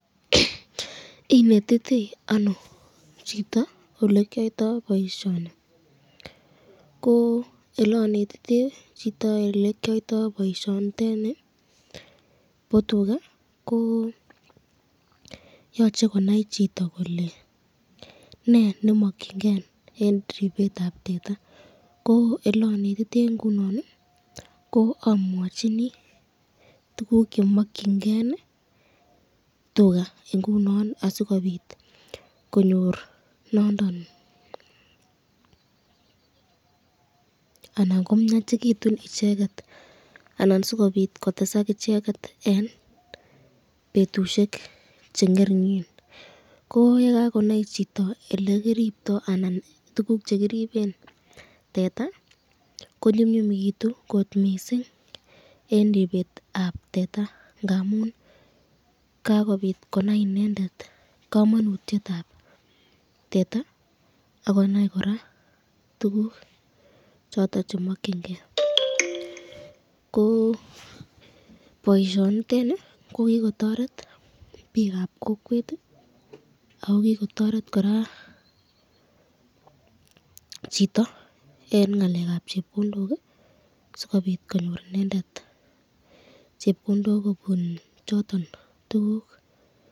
Inetitei ano chito olekyoto boisyoni ,ko elanetitei chito elekyoito boisyoniteni bo tuka, yochei konai chito kole ,ne nemakyinken eng ribetab teta ,ko elenetite ingunon ii amwachini tukuk chemakyinike tuka ,asikobit konyor nondon, anan komyachikitun icheket anan sikobit kotesak icheket eng betushek che ngeringen ,ko yekakonai chito elekiribto anan tukuk chekiriben teta ko nyumnyumitou kot mising eng ribetab teta, ngamun kakobit konai inendet kamanutyetab Tete ak konai koraa tukuk choton chemakyinike ,ko boisyoni ko kikotoret bikab kokwet ako kikotoret chito konyor chepkondok kobun choton tukuk